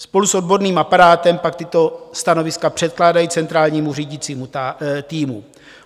Spolu s odborným aparátem pak tato stanoviska předkládají centrálnímu řídícímu týmu.